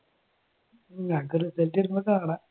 നമുക്ക് result വരുമ്പോൾ കാണാം.